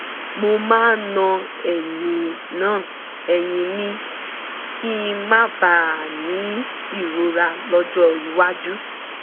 mo máa ń na ẹ̀yìn na ẹ̀yìn mi kí n má bàa ní ìrora lọ́jọ́ iwájú